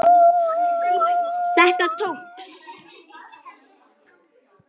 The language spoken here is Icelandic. Þetta tókst.